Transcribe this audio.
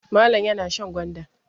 Malam yana shan gwanda.